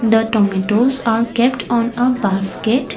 the tomatos are kept on a basket.